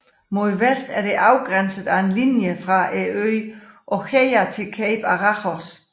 Mod vest er det afgrænset af en linje fra øen Oxeia til Cape Araxos